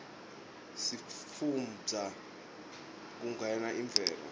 sifunbza nifnqe kuguna imvelo